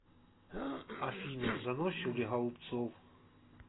афина заносчив ли голубцов